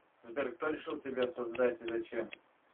сбер кто решил тебя создать и зачем